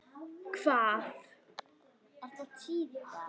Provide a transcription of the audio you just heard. Hvað var ég að hugsa?